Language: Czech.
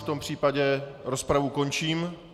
V tom případě rozpravu končím.